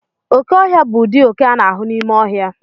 Oke ọhịa bụ ụdị oke a na-ahụ n'ime ọhịa.